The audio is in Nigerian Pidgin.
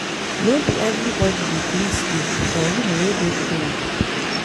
No be everybodi dey gree sleep for room wey dey cold.